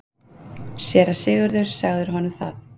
SÉRA SIGURÐUR: Sagðirðu honum það?